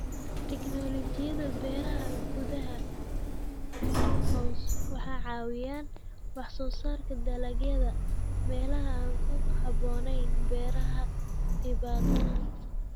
Tiknoolajiyada beeraha gudaha (Greenhouse) waxay caawiyaan wax soo saarka dalagyada meelaha aan ku habboonayn beeraha dibadda.